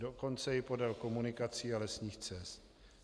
Dokonce i podél komunikací a lesních cest.